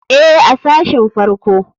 Ee, a sashin farko.